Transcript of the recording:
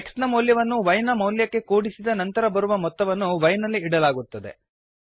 x ನ ಮೌಲ್ಯವನ್ನು y ನ ಮೌಲ್ಯಕ್ಕೆ ಕೂಡಿಸಿದ ನಂತರ ಬರುವ ಮೊತ್ತವನ್ನು y ನಲ್ಲಿ ಇಡಲಾಗುತ್ತದೆ